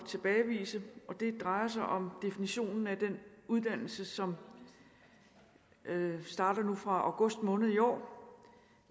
tilbagevise og det drejer sig om definitionen af den uddannelse som starter nu fra august måned i år